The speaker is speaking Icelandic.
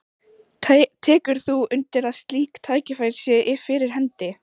Tekur þú undir að slík tækifæri séu fyrir hendi?